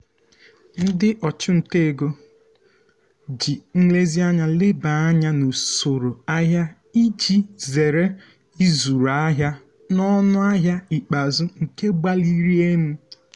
ndị ọchụnta ego um ji nlezianya leba anya n'usoro ahịa iji zere ịzụrụ ahịa n'ọnụ ahịa ikpeazụ nke gbaliri um elu.